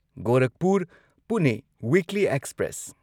Gorakhpur Pune weekly express